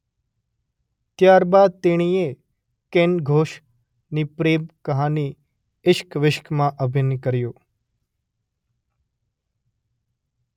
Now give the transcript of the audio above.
ત્યાર બાદ તેણીએ કેન ઘોષની પ્રેમ કહાની ઇશ્ક વિશ્કમાં અભિનય કર્યો